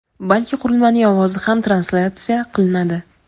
balki qurilmaning ovozi ham translyatsiya qilinadi.